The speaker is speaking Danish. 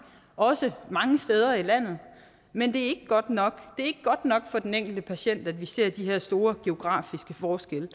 også mange steder i landet men det er ikke godt nok er ikke godt nok for den enkelte patient at vi ser de her store geografiske forskelle